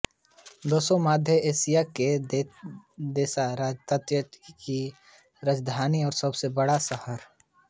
Dushanbe मध्य Asia के देश ताजिकिस्तान की राजधानी और सबसे बड़ा शहर है